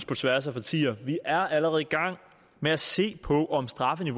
på tværs af partierne vi er allerede i gang med at se på om straffen